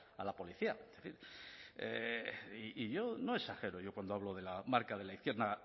a la policía y yo no exagero cuando hablo de la marca de la izquierda